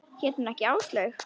Hét hún ekki Áslaug?